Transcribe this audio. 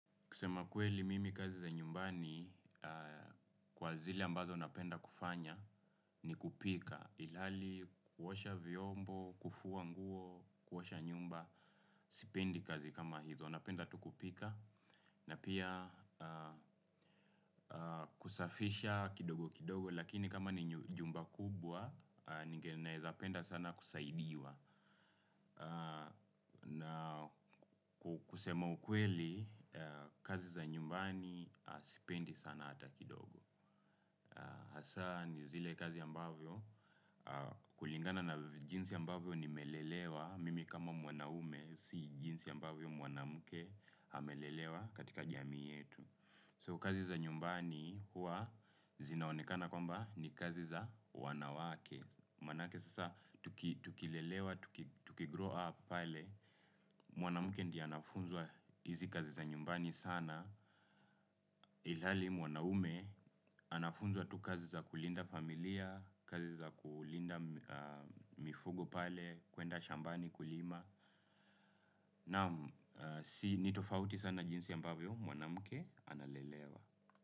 Kusema kweli mimi kazi za nyumbani kwa zile ambazo napenda kufanya ni kupika. Ilhali kuosha vyombo, kufua nguo, kuosha nyumba, sipendi kazi kama hizo. Napenda tu kupika na pia kusafisha kidogo kidogo, lakini kama ni nyumba kubwa, naweza penda sana kusaidiwa. Na kusema ukweli kazi za nyumbani sipendi hata kidogo. Hasa ni zile kazi ambavyo, kulingana na jinsi ambavyo nimelelewa, mimi kama mwanaume si jinsi ambavyo mwanamke amelelewa katika jamii yetu. So, kazi za nyumbani huwa zinaonekana kwamba ni kazi za wanawake. Manake sasa tukilelewa, tukigrow up pale, mwanamke ndiye anafunzwa hizi kazi za nyumbani sana, ilhali mwanaume anafunzwa tu kazi za kulinda familia, kazi za kulinda mifugo pale, kwenda shambani kulima, naam. Ni tofauti sana jinsi ambavyo mwanamke analelewa.